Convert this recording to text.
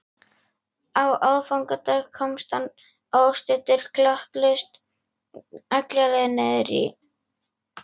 Á aðfangadag komst hann óstuddur klakklaust alla leið niður í